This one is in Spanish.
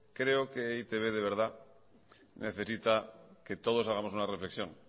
creo que e i te be de verdad necesita que todos hagamos una reflexión